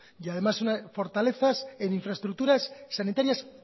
y además fortalezas en infraestructuras sanitarias